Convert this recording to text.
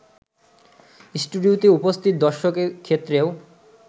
স্টুডিওতে উপস্থিত দর্শকের ক্ষেত্রেও